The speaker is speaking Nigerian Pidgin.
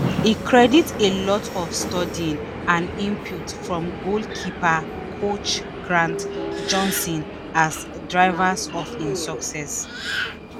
e credit “a lot of studying” and input from goalkeeper coach grant johnson as drivers of im success.